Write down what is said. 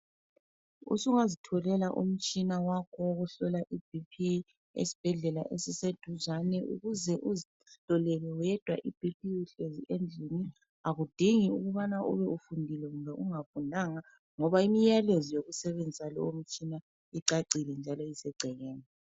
Usungazitholela umtshina wakho wokuhlola iBP esibhedlela esiseduzane ukuze uzihlolele wedwa iBP uhlezi endlini akudingi ukubana ube ufundile loba ungafundanga, ngoba imyalezo yokusebenzisa lomtshina icacile njalo isegcekeni.